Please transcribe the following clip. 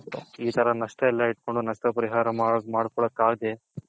ಈ ತರ ಎಲ್ಲಾ ನಷ್ಟ ಎಲ್ಲಾ ಇಟ್ಕೊಂಡ್ ನಷ್ಟ ಪರಿಹಾರ ಮಡ್ಕೋಲ್ಲಕ್ ಅಗಾದೆ